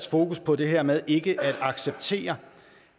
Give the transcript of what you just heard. fokus på det her med ikke at acceptere